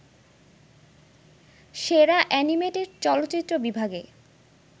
সেরা অ্যানিমেটেড চলচ্চিত্র বিভাগে